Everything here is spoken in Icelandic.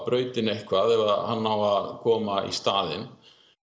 brautinni eitthvað ef hann á að koma í staðinn